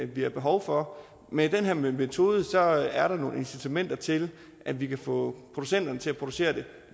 vi har behov for med den her metode er der nogle incitamenter til at vi kan få producenterne til at producere den